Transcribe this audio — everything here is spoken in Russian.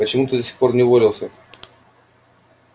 почему ты до сих пор не уволился